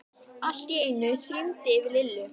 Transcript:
Allt í einu þyrmdi yfir Lillu.